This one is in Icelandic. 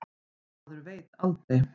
Maður veit aldrei.